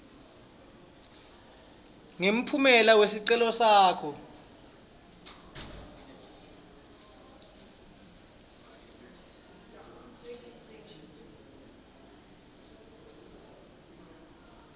ngemphumela wesicelo sakho